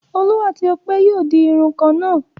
Olú àti Ọpẹ́ yóò di irun kan náà.